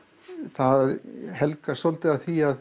það helgast svolítið af því að